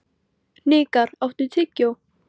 Hnikar, áttu tyggjó?